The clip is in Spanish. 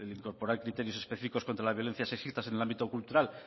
incorporar criterios específicos contra la violencia sexista en el ámbito cultural